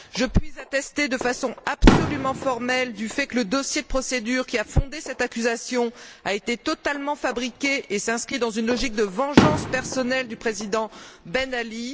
Je puis attester de façon absolument formelle du fait que le dossier de procédure qui a fondé cette accusation a été totalement fabriqué et s'inscrit dans une logique de vengeance personnelle du président Ben Ali.